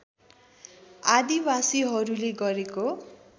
आदिवासिहरूले गरेको